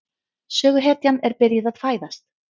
Söguhetjan er byrjuð að fæðast.